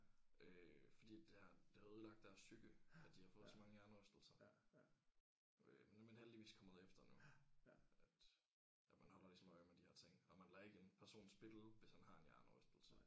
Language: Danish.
Øh fordi det har det har ødelagt deres psyke at de har fået så mange hjernerystelser øh nu er man heldigvis kommet efter nu at at man holder ligesom øje med de her ting og man lader ikke en person spille hvis han har en hjernerystelse